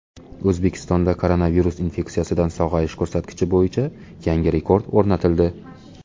O‘zbekistonda koronavirus infeksiyasidan sog‘ayish ko‘rsatkichi bo‘yicha yangi rekord o‘rnatildi.